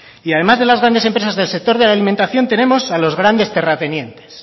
y además de las grandes empresas del sector de la alimentación tenemos a los grandes terratenientes